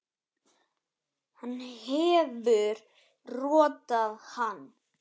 Hann hefur rotað hann!